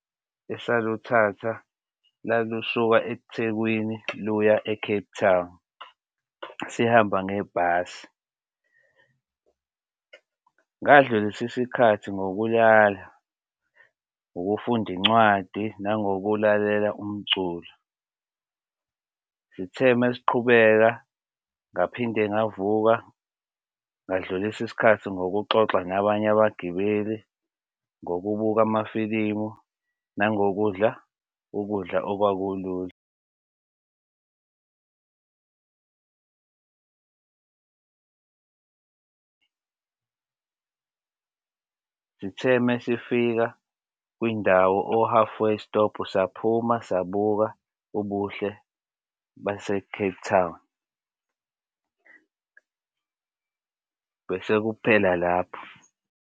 Esaluthatha lalusuka Ethekwini luya e-Cape Town. Sihamba ngebhasi ngadlulisa isikhathi ngokulala, ukufunda incwadi, nangokulalela umculo. Sithe uma siqhubeka ngaphinde ngavuka ngadlulisa isikhathi ngokuxoxa nabanye abagibeli ngokubuka amafilimu nangokudla ukudla okwakulula. Sithe uma sifika kwindawo o-halfway stop saphuma, sabuka ubuhle base-Cape Town bese kuphela lapho.